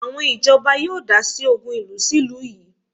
Àwọn ìjọba yóò dásí ògùn ìlú sí ìlú yìí